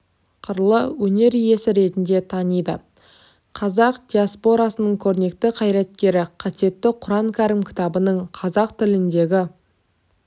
қырлы өнер иесі ретінде таниды қазақ диаспорасының көрнекті қайраткері қасиетті құран кәрім кітабының қазақ тіліндегі